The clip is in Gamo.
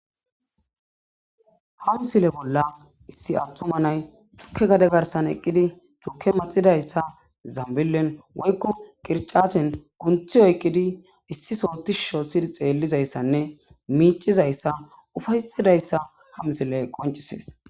Ha misile bolla issi attuma nay tukke gade garsan eqqidi turke maxidayssa zambilen woykko qircachen kunthi oyqidi issi sootishu shoossidi xeellizayssanne miicizayssa ufaysidayssa ha misile qoncisees.